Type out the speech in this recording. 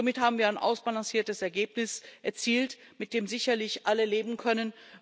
Somit haben wir ein ausbalanciertes Ergebnis erzielt, mit dem sicherlich alle leben können.